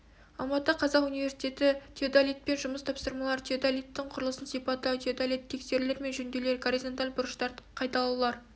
алматы қазақ университеті теодолитпен жұмыс тапсырмалар теодолиттің құрылысын сипаттау теодолитті тексерулер мен жөндеулер горизонталь бұрыштарды қайталаулар